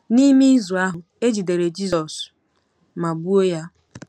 N'ime izu ahụ, e jidere Jizọs ma gbuo ya.